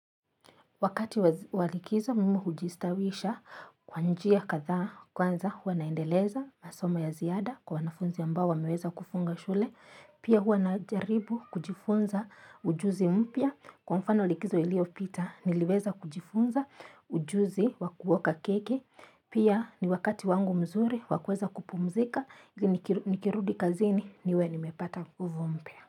Wakati wa likizo mimi hujistawisha kwa njia kadha kwanza huwa naendeleza masoma ya ziada kwa wanafunzi ambao wameweza kufunga shule pia huwa najaribu kujifunza ujuzi mpya kwa mfano likizo ilio pita niliweza kujifunza ujuzi wa kuoka keki pia ni wakati wangu mzuri wa kuweza kupumzika nikirudi kazini niwe nimepata nguvu mpya.